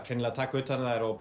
hreinlega að taka utan um þær og